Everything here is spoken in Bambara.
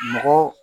Mɔgɔ